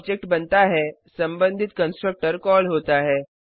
जब ऑब्जेक्ट बनता है संबंधित कंस्ट्रक्टर कॉल होता है